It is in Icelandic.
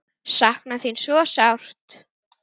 Sakna þín svo sárt.